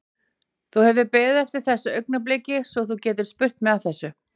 Þú hefur beðið eftir þessu augnabliki svo þú getir spurt mig að þessu?